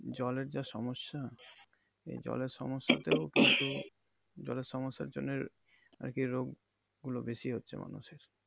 জলের যা সমস্যা, জলের সমস্যা তেও কিন্তু জলের সমস্যার জন্যে রোগ গুলো বেশি হচ্ছে মানুষের।